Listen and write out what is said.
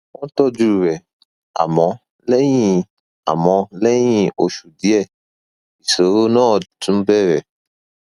wọn tọjú rẹ àmọ lẹyìn àmọ lẹyìn oṣù díẹ ìṣòro náà tún bẹrẹ